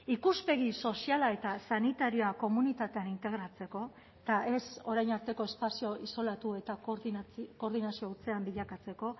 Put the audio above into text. ikuspegi soziala eta sanitarioa komunitatean integratzeko eta ez orain arteko espazio isolatu eta koordinazio hutsean bilakatzeko